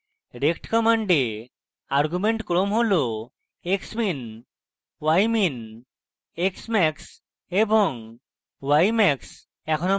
rect command argument ক্রম হল xmin ymin xmax এবং ymax